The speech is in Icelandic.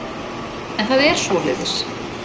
En það er svoleiðis.